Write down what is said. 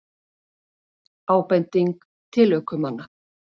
Ábending til ökumanna